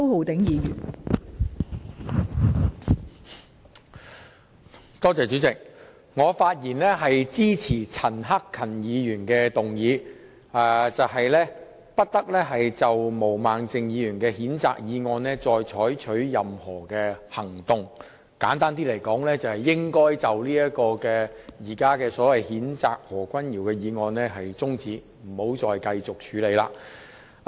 代理主席，我發言支持陳克勤議員的議案，其內容是不得就毛孟靜議員動議的譴責議案採取任何行動，簡單而言，就是中止現時有關譴責何君堯議員議案的辯論。